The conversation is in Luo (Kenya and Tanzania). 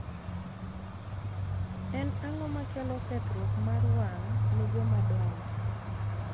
En ang'o makelo kethruok mar wang' ne joma dongo?